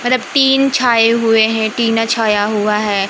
Tin छाए हुए हैं टीना छाया हुआ है।